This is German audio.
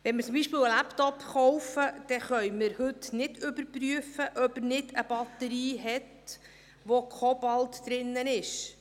Wenn wir zum Beispiel einen Laptop kaufen, können wir nicht überprüfen, ob er nicht eine Batterie mit Kobalt enthält.